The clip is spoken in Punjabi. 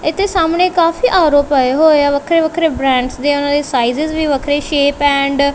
ਇਥੇ ਸਾਹਮਣੇ ਕਾਫੀ ਆ_ਰੋ ਪਏ ਹੋਏ ਆ ਵੱਖਰੇ ਵੱਖਰੇ ਬ੍ਰਾਂਡਸ ਦੀ ਉਹਨਾਂ ਦੀ ਸਾਈਜ ਵੀ ਵੱਖਰੀ ਸ਼ੇਪ ਐਂਡ --